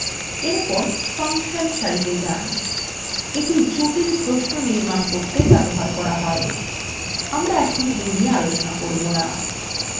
এরপর ফাংশন সারিতে যান